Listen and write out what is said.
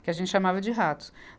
Que a gente chamava de ratos.